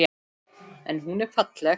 En hún er falleg.